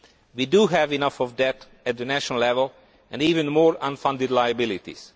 We have enough debt at the national level and even more unfunded liabilities.